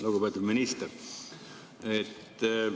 Lugupeetud minister!